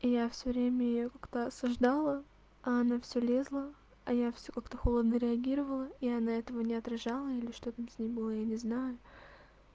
я все время её как-то осуждала а она все лезла а я все как-то холодно реагировала и она этого не отображала или что то там с ней было я не знаю